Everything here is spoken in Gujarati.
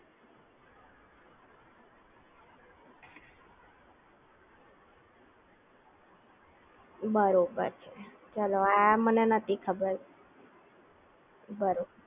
બરોબર ચલો આ મને નહોતી ખબર બરોબર